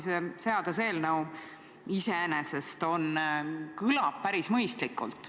See seaduseelnõu iseenesest tundub päris mõistlik olevat.